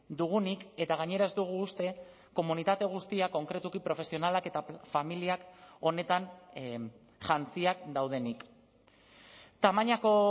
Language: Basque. dugunik eta gainera ez dugu uste komunitate guztia konkretuki profesionalak eta familiak honetan jantziak daudenik tamainako